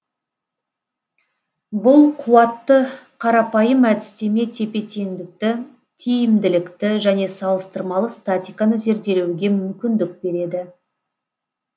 бұл қуатты қарапайым әдістеме тепе теңдікті тиімділікті және салыстырмалы статиканы зерделеуге мүмкіндік береді